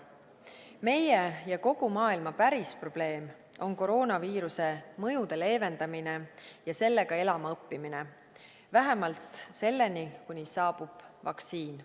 Meie ja kogu maailma päris probleem on koroonaviiruse mõjude leevendamine ja sellega elama õppimine vähemalt seni, kuni saabub vaktsiin.